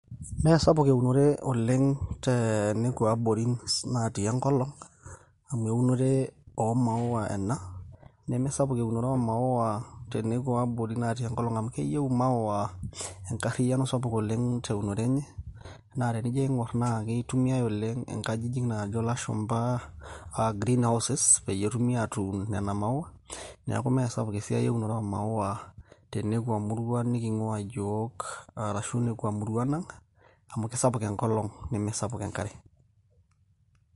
mme sapuk eunore oleng tenekua abori natii enkolong.' amu eunore oo maawa ena, nemesapuk eunore oomaawa te nkop natii enkolong'.amu keyieu imaawa enkariyiano sapuk oleng' te unore enye, naa tenijo aing'or naa keitumiyae oleng',inkajijik naajo lashumpa, greenhouses peyie etumi atuun nena maawa, neeku mme sapuk esiai eunore oo maawa, tenekua muruan niking'uaa yiook, arashu nekua muruan ang'.amu sapuk enkolong' nemesapuk enkare.